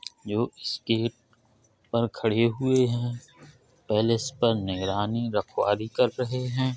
पर खड़े हुए हैं। पैलेस पर निगरानी रखवाली कर रहे हैं।